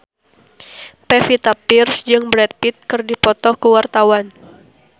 Pevita Pearce jeung Brad Pitt keur dipoto ku wartawan